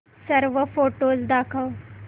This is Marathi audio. सर्व फोटोझ दाखव